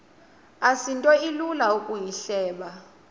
asinto ilula ukuyihleba